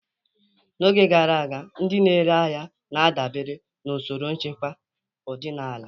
N'oge gara aga, ndị na-ere ahịa na-adabere na usoro nchekwa ọdịnala.